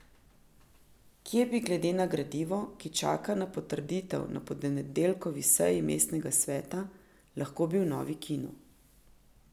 Kje bi glede na gradivo, ki čaka na potrditev na ponedeljkovi seji mestnega sveta, lahko bil novi kino?